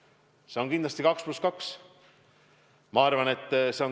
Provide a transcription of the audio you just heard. Ja üks neist on kindlasti 2 + 2 reegel.